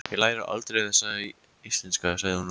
Ég læri aldrei þessi íslenska, sagði hún og dæsti.